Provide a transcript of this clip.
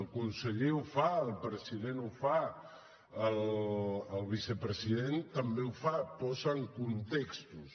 el conseller ho fa el president ho fa el vicepresident també ho fa posen contextos